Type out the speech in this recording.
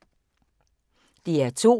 DR2